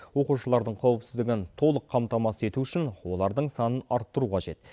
оқушылардың қауіпсіздігін толық қамтамасыз ету үшін олардың санын арттыру қажет